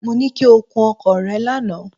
Mo ní kí o kun ọkọ̀ rẹ lánàá.